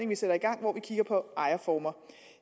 vi sætter i gang hvor vi kigger på ejerformer